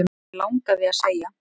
Mig langaði að segja